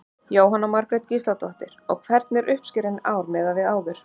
Jóhanna Margrét Gísladóttir: Og hvernig er uppskeran í ár miðað við áður?